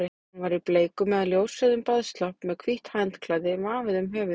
Hún var í bleikum eða ljósrauðum baðslopp með hvítt handklæði vafið um höfuðið.